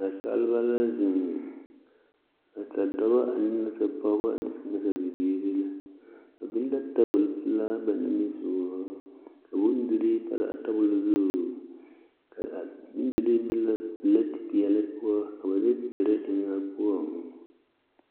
Nansaaleba la zeŋ nasadɔbɔ ne nasapɔgeba ne nasabiiri ba biŋ la tabol pelaa ba nimisɔgɔŋ ka bondirii pare a tebol zu ka a bondirii be la pelete peɛle poɔ ka ba de tere eŋ a poɔŋ.